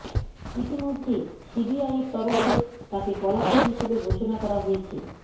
ইতিমধ্যেই সিবিআই এর তরফে তাকে পলাতক হিসেবে ঘোষণা করা হয়েছে